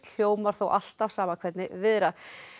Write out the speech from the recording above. hljómar þó alltaf sama hvernig viðrar